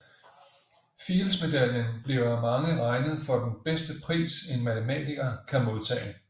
Fieldsmedaljen bliver af mange regnet for den bedste pris en matematiker kan modtage